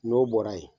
N'o bɔra yen